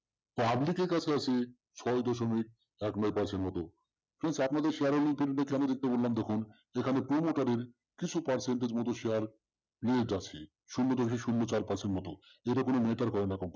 public র কাছে আছে ছয় দশমিক উনিশ percent মত please আপনাদের share র investment কেন দেখতে বললাম দেখুন এখানে promoter র কিছু percentage মতো share নিয়োগ আছে। শূন্য দশমিক শূন্য চার percent মতো এটা এটা যেটা কোন matter করে না